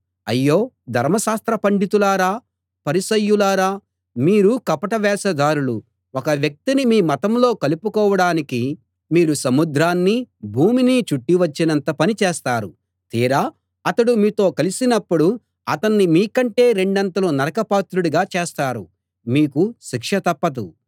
అయ్యో ధర్మశాస్త్ర పండితులారా పరిసయ్యులారా మీరు కపట వేషధారులు ఒక్క వ్యక్తిని మీ మతంలో కలుపుకోడానికి మీరు సముద్రాన్నీ భూమినీ చుట్టి వచ్చినంత పని చేస్తారు తీరా అతడు మీతో కలిసినప్పుడు అతణ్ణి మీకంటే రెండంతలు నరకపాత్రుడిగా చేస్తారు మీకు శిక్ష తప్పదు